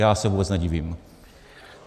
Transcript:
Já se vůbec nedivím.